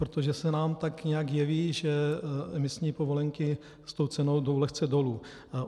Protože se nám tak nějak jeví, že emisní povolenky s tou cenou jdou lehce dolů.